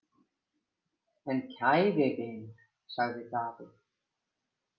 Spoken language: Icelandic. En kæri vinur, sagði Daði.